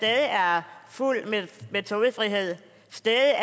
er fuld metodefrihed stadig er